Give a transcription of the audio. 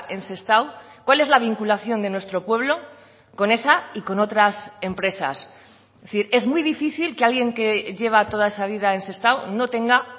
en sestao cual es la vinculación de nuestro pueblo con esa y con otras empresas es decir es muy difícil que alguien que lleva toda esa vida en sestao no tenga